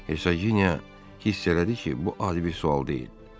Hersoginya hiss elədi ki, bu adi bir sual deyil.